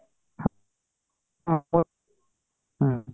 ହଁ ହୁଁ